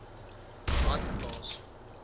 badplaas